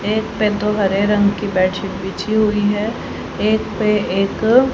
एक पे दो हरे रंग की बेडशीट बिछी हुई हैं एक पे एक--